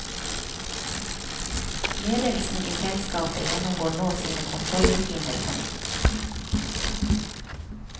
Ledelsen i selskapet gjennomgår nå sine kontrollrutiner på nytt.